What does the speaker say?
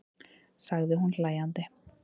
sagði hún hlæjandi.